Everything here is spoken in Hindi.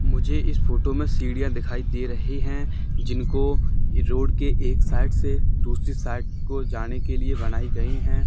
मुझे इस फोटो में सीढ़िया दिखाई दे रही हैं जिनको रोड के एक साइड से दूसरी साइड को जाने के लिए बनाई गई हैं।